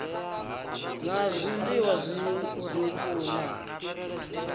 na a zwiliwa zwiuku na